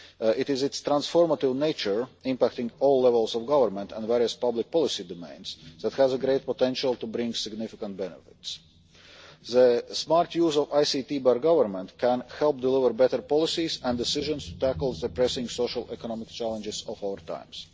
It is its transformative nature, impacting all levels of government and various public policy domains, that has great potential to bring significant benefits. The smart use of ICT by governments can help deliver better policies and decisions to tackle the pressing social and economic challenges of our times.